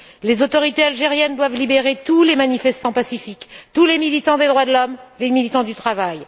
Les autorités algériennes doivent libérer tous les manifestants pacifiques, tous les militants des droits de l'homme et les militants du travail.